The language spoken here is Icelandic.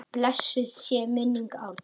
Blessuð sé minning Árna.